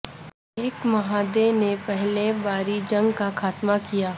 ایک معاہدے نے پہلے باربی جنگ کا خاتمہ کیا